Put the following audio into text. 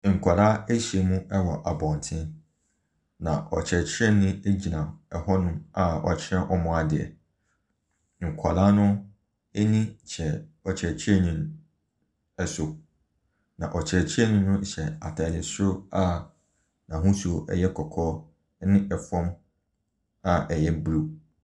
Nkwadaa ɛhyia mu wɔ abɔnten na ɔkyerɛkyerɛnii egyina ɛho nom a ɔkyerɛ wɔn adeɛ. Nkwadaa no ɛni kyerɛ ɔkyerɛkyerɛnii no so. Na ɔkyerɛkyerɛnii no hyɛ ataade soro a n'ahosuo no ɛyɛ kɔkɔɔ ɛne ɛfam a ɛyɛ blue.